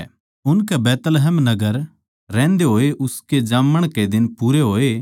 उनकै बैतलहम नगर रहन्दे होए उसके जाम्मण के दिन पूरे होए